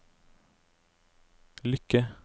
lykke